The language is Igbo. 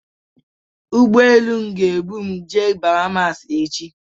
Ụgbọelu ga-ebum jee Bahamasi ka bụ echi.